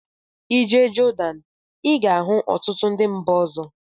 I jee Jordan I ga-ahụ ọtụtụ ndị mba ọzọ.